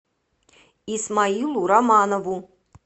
исмаилу романову